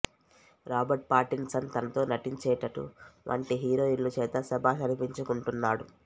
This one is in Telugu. రాబర్ట్ పాటిన్ సన్ తనతో నటించేటటువంటి హీరోయిన్లు చేత శభాష్ అనిపించుకుంటున్నాడు